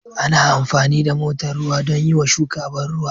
Ana amfani da motar ruwa don yiwa shuka ban ruwa